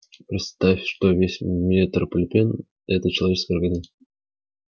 представь что весь метрополитен это человеческий организм